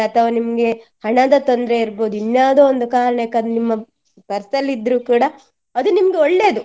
ಅಥವಾ ನಿಮ್ಗೆ ಹಣದ ತೊಂದ್ರೆ ಇರ್ಬೋದು ಇನ್ನಾವುದೋ ಒಂದು ಕಾರಣಕ್ಕೆ ಅದ್ ನಿಮ್ಮ purse ಅಲ್ಲಿ ಇದ್ರು ಕೂಡಾ ಅದು ನಿಮ್ಗೆ ಒಳ್ಳೆಯದು.